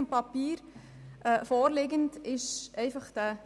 In der Vorlage ist von der